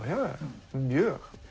já mjög